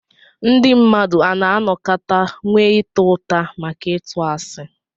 Ndí mmadụ a nà-anọkàtà nwé ịtá ụtà maka ịtụ àsị